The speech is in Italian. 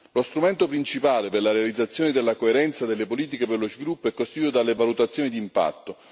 Lo strumento principale per la realizzazione della coerenza delle politiche per lo sviluppo è costituito dalle valutazioni di impatto.